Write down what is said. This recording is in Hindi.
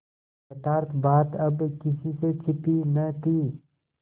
यथार्थ बात अब किसी से छिपी न थी